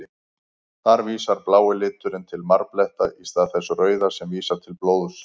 Þar vísar blái liturinn til marbletta, í stað þess rauða sem vísar til blóðs.